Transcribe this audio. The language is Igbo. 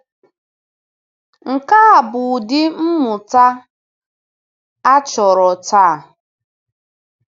Nke a bụ ụdị mmụta a chọrọ taa.